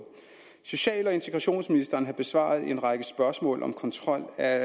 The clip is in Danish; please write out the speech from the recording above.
social og integrationsministeren har besvaret en række spørgsmål om kontrol af